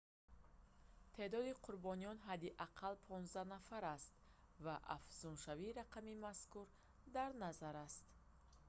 теъдоди қурбониён ҳадди ақалл 15 нафар аст ва афзуншавии рақами мазкур дар назар аст